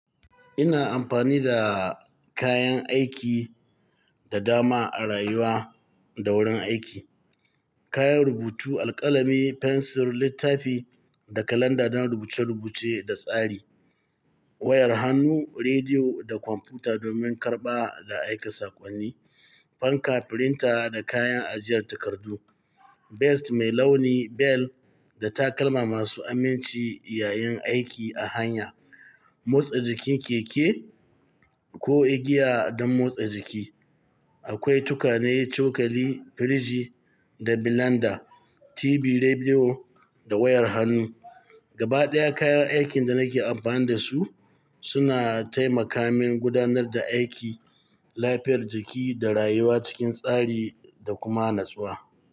Ina amfani da kayan aiki da dama a rayuwa da wurin aiki. Kayan rubutu, alkalami, fensir, littafi da kalanda don rubuce-rubuce da tsari. Wayar hannu, rediyo da kwamfuta domin karɓa da aika saƙonni. Fanka, firinta da kayan ajiyar takardu. Vest mai launi, bel da takalma masu aminci yayin aiki a hanya. Motsa jikin keke ko igiya don motsa jiki. Akwai tukane, cokali, firiji da bilanda, TV, rediyo da wayar hannu. Gaba ɗaya kayan aikin da nake amfani da su suna taimaka min gudanar da aiki, lafiyar jiki da rayuwa cikin tsari da kuma natsuwa.